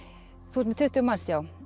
þú ert með tuttugu manns já